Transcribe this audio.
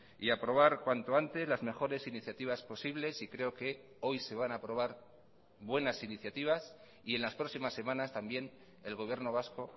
y aprobar cuanto antes las mejores iniciativas posibles y creo que hoy se van a aprobar buenas iniciativas y en las próximas semanas también el gobierno vasco